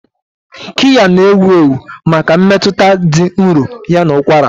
Kiya na-ewu ewu maka mmetụta dị nro ya na ụkwara.